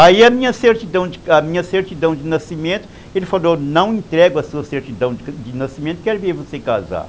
Aí a minha certidão a minha certidão de nascimento, ele falou, não entrego a sua certidão de nascimento, quero ver você casar.